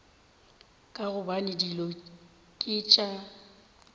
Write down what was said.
ka gobane dilo ke tša